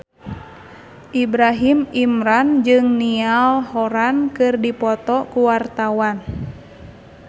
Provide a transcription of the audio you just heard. Ibrahim Imran jeung Niall Horran keur dipoto ku wartawan